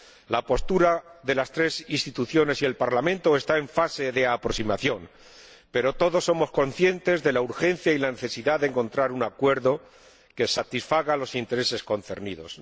La postura de las tres instituciones y el Parlamento está en fase de aproximación, pero todos somos conscientes de la urgencia y de la necesidad de encontrar un acuerdo que satisfaga los intereses concernidos.